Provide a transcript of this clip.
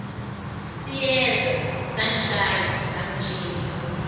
siyeza sangishaya sangithela